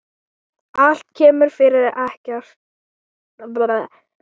Allt kemur fyrir ekki.